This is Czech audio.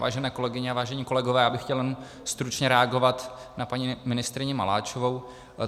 Vážené kolegyně a vážení kolegové, já bych chtěl jenom stručně reagovat na paní ministryni Maláčovou.